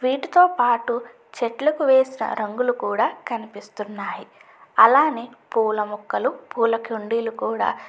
వీటితో పాటు చెట్లకు వేసిన రంగులు కూడా కనిపిస్తున్నాయి అలానే పూల మొక్కలు పూల కుండీలు కూడా.